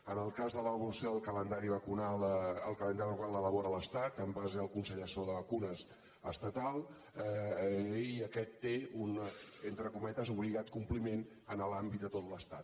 en el cas de l’avaluació del calendari vacunal el calendari vacunal l’elabora l’estat en base al consell assessor de vacunes estatal i aquest té un entre cometes obligat compliment en l’àmbit de tot l’estat